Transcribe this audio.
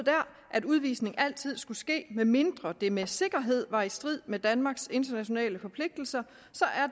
at udvisning altid skulle ske medmindre det med sikkerhed var i strid med danmarks internationale forpligtelser så